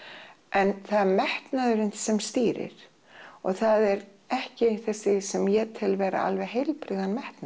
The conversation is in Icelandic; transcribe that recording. en það er metnaðurinn sem stýrir og það er ekki þessi sem ég tel vera alveg heilbrigðan metnað